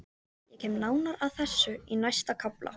Ég kem nánar að þessu í næsta kafla.